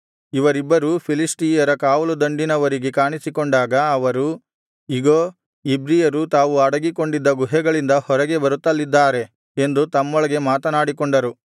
ಇವರಿಬ್ಬರೂ ಫಿಲಿಷ್ಟಿಯರ ಕಾವಲು ದಂಡಿನವರಿಗೆ ಕಾಣಿಸಿಕೊಂಡಾಗ ಅವರು ಇಗೋ ಇಬ್ರಿಯರು ತಾವು ಅಡಗಿಕೊಂಡಿದ್ದ ಗುಹೆಗಳಿಂದ ಹೊರಗೆ ಬರುತ್ತಲಿದ್ದಾರೆ ಎಂದು ತಮ್ಮೊಳಗೆ ಮಾತನಾಡಿಕೊಂಡರು